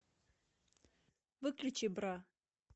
выключи бра